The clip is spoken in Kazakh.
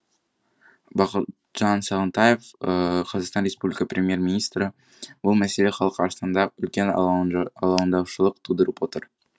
бақытжан сағынтаев қазақсатн республика премьер министрі бұл мәселе халық арасында үлкен алаңдаушылық тудырып отыр